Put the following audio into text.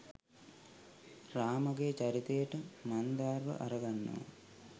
රාමගේ චරිතයට මන්දාර්ව අරගන්නවා.